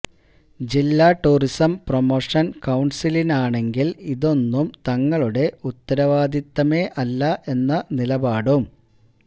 ജില്ലാ tourism promotion കൌണ്സിലിനാണെങ്കില് ഇതൊന്നും തങ്ങളുടെ ഉത്തരവാദിത്തമേ അല്ല എന്ന നിലപാടും